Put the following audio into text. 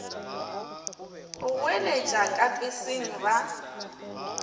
go goeletša ka peseng ba